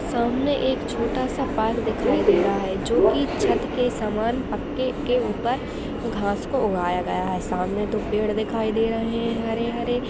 सामने एक छोटा-सा पार्क दिखाई दे रहा है जो कि छत के समान पक्के के ऊपर घास को उगाया गया है| सामने दो पेड़ दिखाई दे रहे है हरे-हरे --